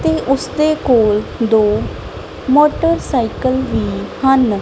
ਤੇ ਉਸਦੇ ਕੋਲ ਦੋ ਮੋਟਰਸਾਈਕਲ ਵੀ ਹਨ।